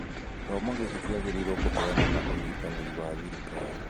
Gĩthomo gĩkĩ kĩagĩrĩirwo kũheanwo na ũnyitanĩri wa thirikari